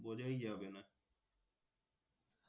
বোঝাই যাবে না